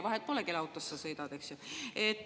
Vahet pole, kelle autos sa sõidad, eks ju.